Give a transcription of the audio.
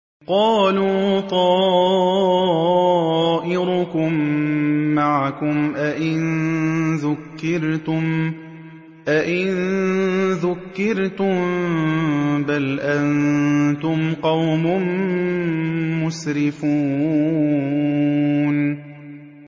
قَالُوا طَائِرُكُم مَّعَكُمْ ۚ أَئِن ذُكِّرْتُم ۚ بَلْ أَنتُمْ قَوْمٌ مُّسْرِفُونَ